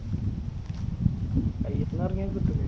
കയ്യിന്ന് ഇറങ്ങിയത് കിട്ടൂലെ?